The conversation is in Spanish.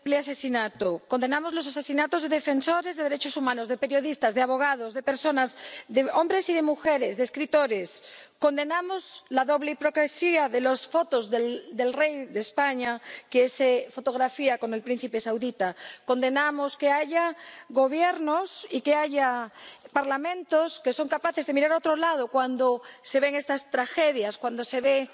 Señor presidente, condenamos este terrible asesinato, condenamos los asesinatos de defensores de derechos humanos, de periodistas, de abogados, de personas, de hombres y de mujeres, de escritores. Condenamos la doble hipocresía de las fotos del rey de España, que se fotografía con el príncipe saudita condenamos que haya Gobiernos y que haya Parlamentos que son capaces de mirar a otro lado cuando se ven estas tragedias, cuando se ven